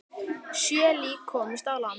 Sjö lík komust á land.